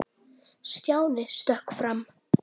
Stjáni stökk fram.